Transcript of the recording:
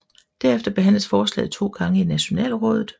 Derefter behandles forslaget to gange i Nationalrådet